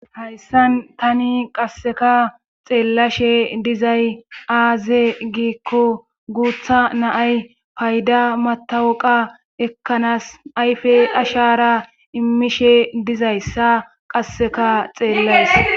Hayssan tani qasseka xeellashe dizay aaze giikko guuththa naay paydda matawuqa ekkanaas ayfe ashara immishe dizayssa qasseka xeellays